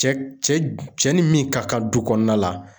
Cɛ cɛ ni min ka kan du kɔnɔna la